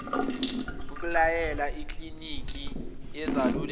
akulayele ikliniki yezaluleko